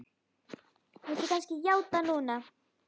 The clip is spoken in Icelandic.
Viltu kannski játa núna?